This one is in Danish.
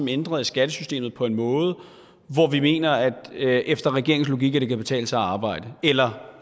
ændret i skattesystemet på en måde hvor vi mener at det efter regeringens logik kan betale sig at arbejde eller